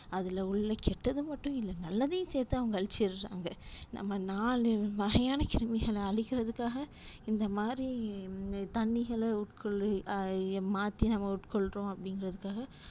அதுல உள்ள கெட்டது மட்டும் இல்ல நல்லதையும் சேத்து அவங்க அளிச்சிறாங்க நம்ம நாலு வகையான கிருமிகள அளிக்கிறதுக்காக இந்த மாறி தண்ணிகள உட்கொள்ளு மாத்தி உட்கொள்றோம் அப்டின்றதுக்காக